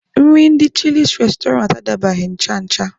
Nri ndị chịlịs restoranti adabaghị ncha ncha.